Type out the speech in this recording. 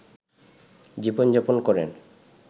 জীবনযাপন করেন